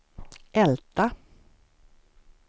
Älta